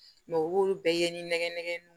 u b'olu bɛɛ ye ni nɛgɛ nɛgɛ nunnu